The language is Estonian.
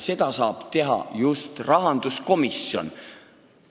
Seda saab teha just rahanduskomisjon.